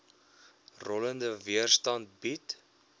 rollende weerstand bied